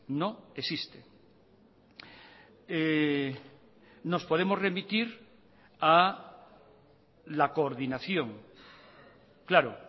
no existe nos podemos remitir a la coordinación claro